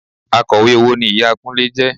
Akọ̀wé owó ni ìyá Kúnlé jẹ